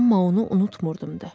Amma onu unutmurdum da.